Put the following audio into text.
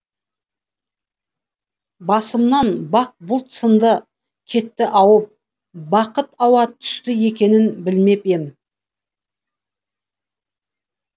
басымнан бақ бұлт сынды кетті ауып бақыт ауа түсті екенін білмеп ем